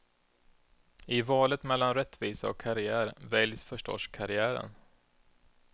I valet mellan rättvisa och karriär väljs förstås karriären.